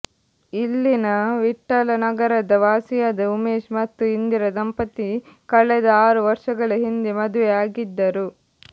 ಇಲ್ಲಿನ ವಿಠ್ಠಲ ನಗರದ ವಾಸಿಯಾದ ಉಮೇಶ್ ಮತ್ತು ಇಂದಿರಾ ದಂಪತಿ ಕಳೆದ ಆರು ವರ್ಷಗಳ ಹಿಂದೆ ಮದುವೆ ಆಗಿದ್ದರು